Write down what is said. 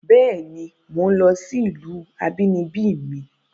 Béèni, mò ń lọ sí ìlú abínibí mi